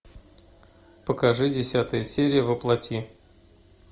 покажи десятая серия во плоти